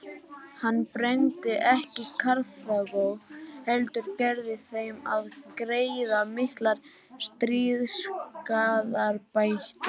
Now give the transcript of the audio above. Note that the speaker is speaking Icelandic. Hann brenndi ekki Karþagó heldur gerði þeim að greiða miklar stríðsskaðabætur.